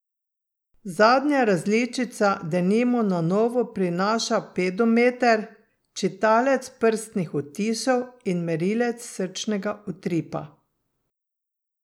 Zadnja različica denimo na novo prinaša pedometer, čitalec prstnih odtisov in merilec srčnega utripa.